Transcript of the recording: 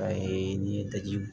A ye n ye digi